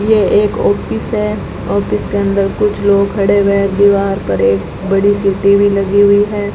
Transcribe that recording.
ये एक ऑफिस है ऑफिस के अंदर कुछ लोग खड़े हुए हैं दीवार पर एक बड़ी सी टी_वी लगी हुई है।